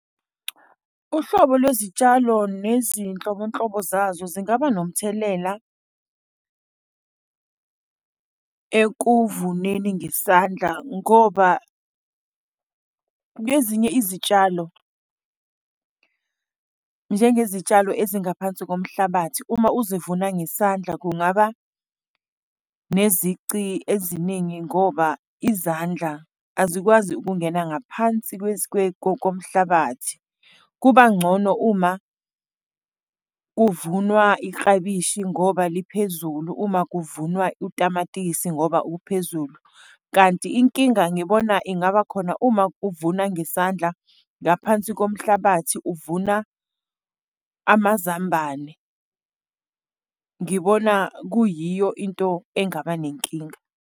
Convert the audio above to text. Uhlobo lwezitshalo nezinhlobonhlobo zazo zingaba nomthelela ekuvuneni ngesandla ngoba kwezinye izitshalo, njengezitshalo ezingaphansi komhlabathi uma ukuzivuna ngesandla kungaba nezici eziningi ngoba izandla azikwazi ukungena ngaphansi komhlabathi. Kuba ngcono uma kuvunwa iklabishi ngoba liphezulu, uma kuvunwa utamatisi ngoba okuphezulu, kanti inkinga ngibona ingaba khona uma kuvunwa yesandla ngaphansi komhlabathi, uvuna amazambane. Ngibona kuyiyo into engaba nenkinga.